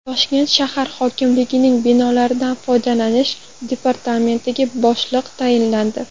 Toshkent shahar hokimligining binolardan foydalanish departamentiga boshliq tayinlandi.